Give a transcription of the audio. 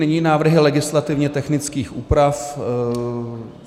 Nyní návrhy legislativně technických úprav.